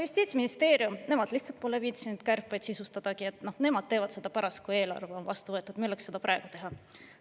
Justiitsministeerium vastas, et nemad lihtsalt pole viitsinud kärpeid sisustadagi, nemad teevad seda pärast, kui eelarve on vastu võetud, milleks seda praegu teha.